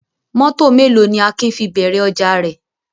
Mọ́tọ̀ mélòó ni Akin fi bẹ̀rẹ̀ ọjà rẹ̀?